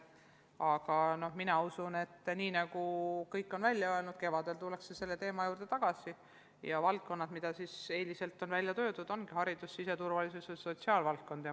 Aga mina usun, et kevadel tullakse selle teema juurde tagasi ja palgatõusu saavad valdkonnad, mis eelistustena välja öeldud: haridus, siseturvalisus ja sotsiaalvaldkond.